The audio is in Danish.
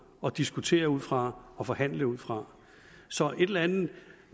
og diskutere ud fra og forhandle ud fra så et eller andet